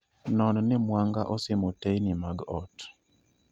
Non ni mwanga osimo teyni mag ot